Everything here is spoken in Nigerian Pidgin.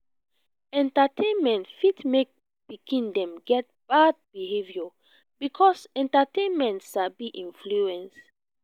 entertainment fit make pikin them get bad behaviour because entertainment sabi influence